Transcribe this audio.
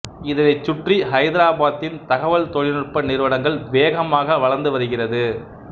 இதனைச் சுற்றி ஐதாராபாத்தின் தகவல் தொழில்நுட்ப நிறுவனங்கள் வேகமாக வளர்ந்து வருகிறது